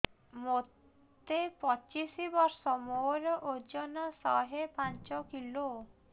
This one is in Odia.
ମୋତେ ପଚିଶି ବର୍ଷ ମୋର ଓଜନ ଶହେ ପାଞ୍ଚ କିଲୋ